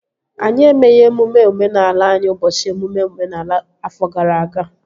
Anyị emeghị emume omenala anyị ụbọchị emume omenala afọ gara aga